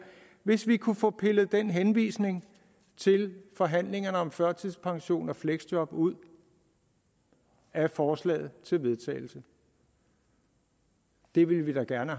hvis vi kunne få pillet den henvisning til forhandlingerne om førtidspension og fleksjob ud af forslaget til vedtagelse det ville vi da gerne